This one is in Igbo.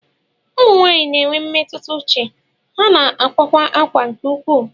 Ụmụ nwanyị na enwe mmetụta uche, ha na-akwakwa akwa nke ukwuu.